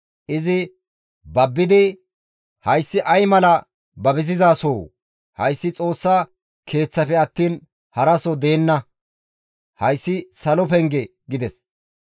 Izi babbidi, «Hayssi ay mala babisizasoo! Hayssi Xoossa Keeththafe attiin haraso deenna; hayssi salo penge» gides.